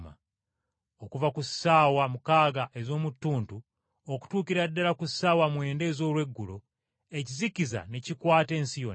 Okuva ku ssaawa mukaaga ez’omu ttuntu okutuukira ddala ku ssaawa mwenda ez’olweggulo, ekizikiza ne kikwata ensi yonna.